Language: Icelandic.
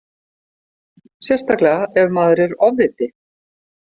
Sérstaklega ef maður er ofviti.